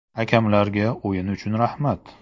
Hakamlarga o‘yin uchun rahmat.